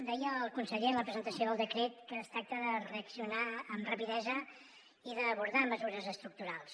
deia el conseller en la presentació del decret que es tracta de reaccionar amb rapidesa i d’abordar mesures estructurals